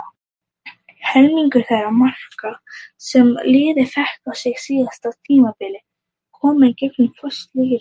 Helmingur þeirra marka sem liðið fékk á sig síðasta tímabil komu í gegnum föst leikatriði.